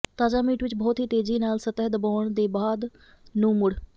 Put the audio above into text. ਤਾਜ਼ਾ ਮੀਟ ਵਿੱਚ ਬਹੁਤ ਹੀ ਤੇਜ਼ੀ ਨਾਲ ਸਤਹ ਦਬਾਉਣ ਦੇ ਬਾਅਦ ਨੂੰ ਮੁੜ